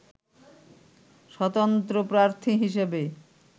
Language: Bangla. স্বতন্ত্র প্রার্থী হিসেবে